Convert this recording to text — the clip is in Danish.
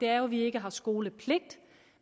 at vi ikke har skolepligt